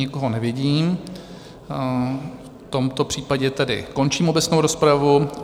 Nikoho nevidím, v tomto případě tedy končím obecnou rozpravu.